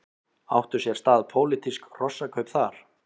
Áttu sér stað pólitísk hrossakaup þar?